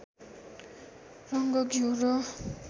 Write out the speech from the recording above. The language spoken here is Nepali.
रङ्ग घिउ र